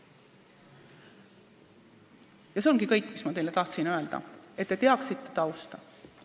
Ja see ongi kõik, mis ma teile tahtsin öelda, et te teaksite tausta.